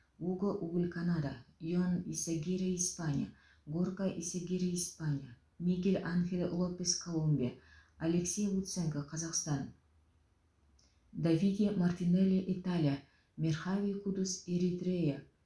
уго уль канада йон исагирре испания горка исагирре испания мигель анхель лопес колумбия алексей луценко қазақстан давиде мартинелли италия мерхави кудус эритрея